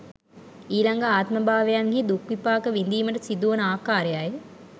ඊළඟ ආත්මභාවයන්හි දුක් විපාක විඳීමට සිදුවන ආකාරයයි.